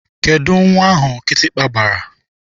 Kedụ nwa ahụ kịtịkpa gbara?